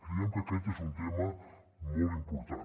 creiem que aquest és un tema molt important